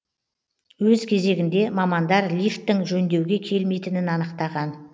өз кезегінде мамандар лифттің жөндеуге келмейтінін анықтаған